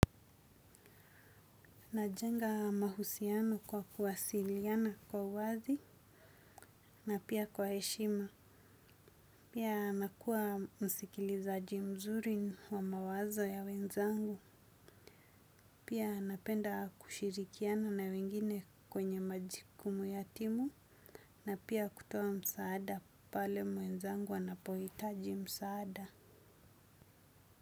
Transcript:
Najenga mahusiano kwa kuwasiliana kwa wazi na pia kwa heshima. Pia nakua msikilizaji mzuri wa mawazo ya wenzangu. Pia napenda kushirikiana na wengine kwenye majukumu ya timu na pia kutoa msaada pale mwenzangu anapohitaji msaada.